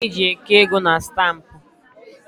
Ụlọ akụ n'enwe ihe eji eke ego na stampụ